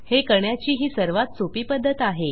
हे करण्याची ही सर्वात सोपी पध्दत आहे